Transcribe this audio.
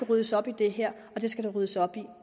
ryddes op i det her det skal der ryddes op i